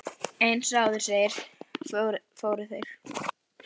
Eins og áður segir, fóru þeir